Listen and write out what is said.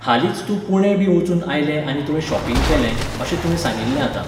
हालींच तूं पुणें बी वचून आयलें आनी तुवें शॉपिंग केलें, अशें तुवें सांगिल्लें आतां.